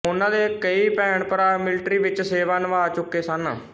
ਉਨ੍ਹਾਂ ਦੇ ਕਈ ਭੈਣਭਰਾ ਮਿਲਟਰੀ ਵਿੱਚ ਸੇਵਾ ਨਿਭਾ ਚੁੱਕੇ ਸਨ